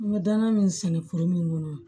N bɛ danaya min sɛnɛ foro min kɔnɔ